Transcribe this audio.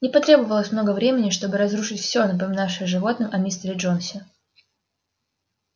не потребовалось много времени чтобы разрушить все напоминавшее животным о мистере джонсе